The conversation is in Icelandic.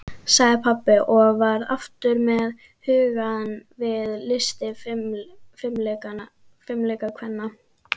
sagði pabbi og var aftur með hugann við listir fimleikakvennanna.